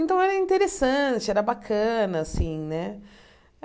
Então, era interessante, era bacana, assim, né?